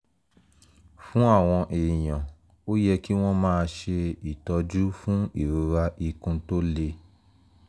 fún àwọn èèyàn ó yẹ kí wọ́n máa ṣe ìtọ́jú fún ìrora ikun tó le